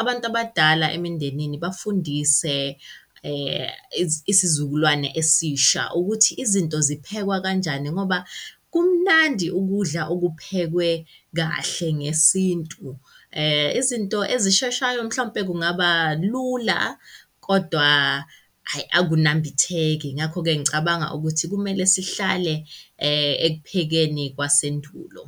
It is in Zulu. abantu abadala emindenini bafundise isizukulwane esisha ukuthi izinto ziphekwa kanjani ngoba kumnandi ukudla okuphekwe kahle ngesintu. Izinto ezisheshayo mhlawumpe kungaba lula, kodwa hhayi akunambitheki, ngakho-ke ngicabanga ukuthi kumele sihlale ekuphekeni kwasendulo.